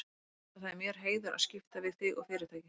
Þú veist að það er mér heiður að skipta við þig og Fyrirtækið.